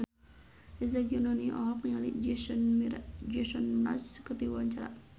Eza Gionino olohok ningali Jason Mraz keur diwawancara